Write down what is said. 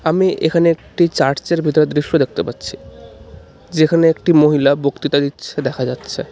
আমি এখানে একটি চার্চের ভিতরের দৃশ্য দেখতে পাচ্ছি যেখানে একটি মহিলা বক্তৃতা দিচ্ছে দেখা যাচ্ছে .